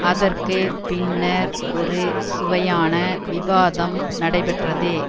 அதற்கு பின்னர் ஒரு சுவையான விவாதம் நடைபெற்றது